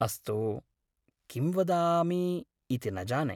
अस्तु, किं वदामि इति न जाने।